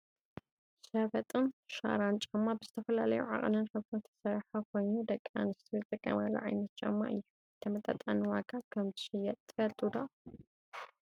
ሸበጥን ሻራን ጫማ ብዝተፈላለዩ ዓቀንን ሕብርን ዝተሰረሓ ኮይኑ ደቂ ኣንስትዮ ዝጥቀማሉ ዓይነት ጫማ እዩ። ብተመጣጣኒ ዋጋ ከም ዝሽየጥ ትፈልጡ ዶ?